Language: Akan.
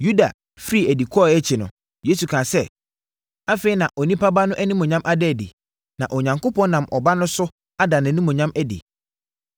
Yuda firii adi kɔeɛ akyi no, Yesu kaa sɛ, “Afei na Onipa Ba no animuonyam ada adi; na Onyankopɔn nam Ɔba no so ada nʼanimuonyam adi.